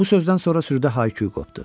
Bu sözdən sonra sürüdə hay-küy qopdu.